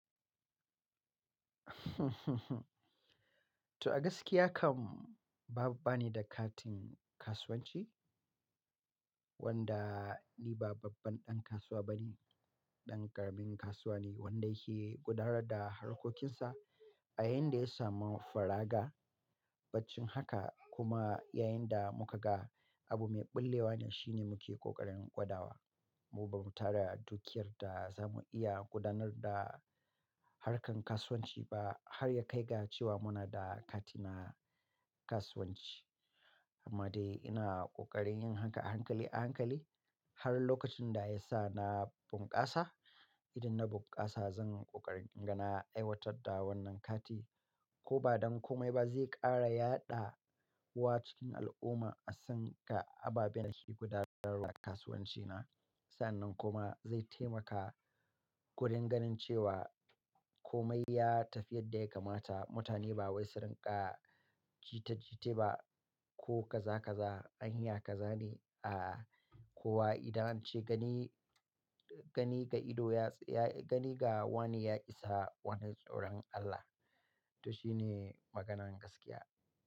To a gaskiya kam banida katin kasuwanci wanda ni ba babban ɗan kasuwa bane, ɗan ƙaramin kasuwa ne wanda yake gudanar da harkokinsa a yayin da ya samu faraga. Baccin haka kuma yayin da muka ga abu mai bullewa ne shine muke ƙoƙarin gwada wa. Mu ba mu tara dukiyar da za mu iya gudanar da harkan kasuwanci ba har ya kai ga cewa muna da kati na kasuwanci. Amma dai ina ƙoƙarin yin haka a hankali a hankali har lokacin da ya sa na bunƙasa. Idan na bunƙasa zan ƙoƙarin inga na aiwatar da wannan kati ko ba don komai ba zai ƙara yaɗa wa cikin al'umma a san ga ababen da ke gudanar da kasuwanci na. Sa'annan kuma zai taimaka wurin ganin cewa komai ya tafi yadda ya kamata. Mutane ba wai su rinƙa jita jita ba ko kaza kaza anyya kazane. A'a, kuwa idan an ce gani, gani ga ido ya, gani ga wani ya isa, wannan tsoron Allah. To shi ne maganan gaskiya.